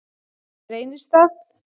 Reynistað